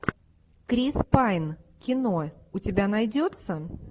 крис пайн кино у тебя найдется